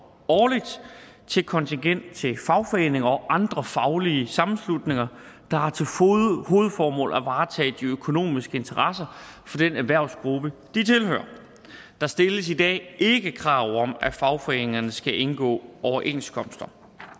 årligt til kontingent til fagforeninger og andre faglige sammenslutninger der har til hovedformål at varetage de økonomiske interesser for den erhvervsgruppe de tilhører der stilles i dag ikke krav om at fagforeningerne skal indgå overenskomster